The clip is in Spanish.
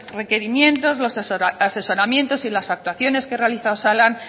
requerimientos los asesoramientos y las actuaciones que realiza osalan